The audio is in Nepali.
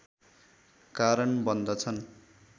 कारण बन्दछन्